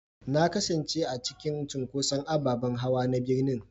Na kasance a cikin cunkoson ababen hawa na birnin